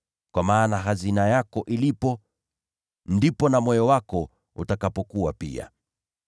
Kwa sababu mahali hazina yako ilipo, hapo ndipo moyo wako utakapokuwa pia.